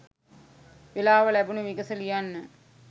වෙලාව ලැබුණු විගස ලියන්න.